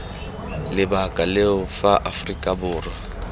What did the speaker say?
lebaka leo fa aforika borwa